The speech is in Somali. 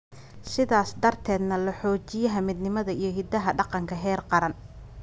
sidaas darteedna loo xoojiyo midnimada iyo hiddaha dhaqanka. Heer qaran.